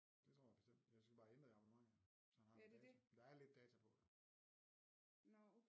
Det tror jeg bestemt jeg skal bare ændre i abonnementet så han har noget data der er lidt data på jo